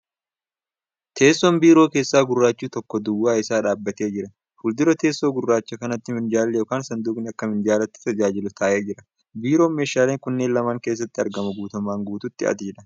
Teessoon biiroo keessaa gurraachi tokko duwwaa isaa dhaabbatee jira. Fuuldura teessoo gurraacha kanaatti minjaalli yookan sanduuqni akka minjaalatti tajaajilu taa'ee jira. Biiroon meeshaaleen kunneen lameen keessatti argamu guutummaan guutuutti adiidha.